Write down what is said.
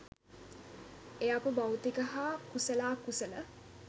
එය අප භෞතික හා කුසලාකුසල